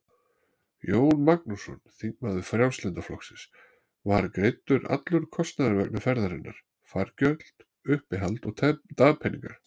Jón Magnússon, þingmaður Frjálslynda flokksins: Var greiddur allur kostnaður vegna ferðarinnar, fargjöld, uppihald og dagpeningar?